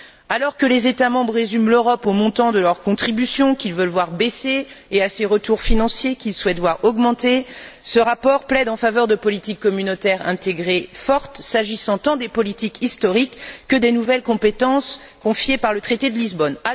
Alors que les États membres résument l'Europe au montant de leur contribution, qu'ils veulent voir baisser, et à ses retours financiers, qu'ils souhaitent voir augmenter, ce rapport plaide en faveur de politiques communautaires intégrées fortes, s'agissant tant des politiques historiques que des nouvelles compétences confiées par le traité de Lisbonne.